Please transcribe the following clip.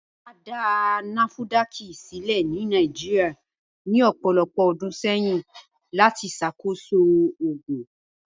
À dá nafudákì sílẹ̀ ní Nàìjíríà ní ọpọ̀lọpọ̀ ọdún sẹyìn lati ṣàkóṣọ̀ oogun